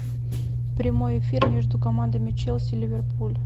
прямой эфир между командами челси ливерпуль